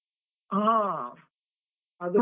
ಹಾ ಅದು.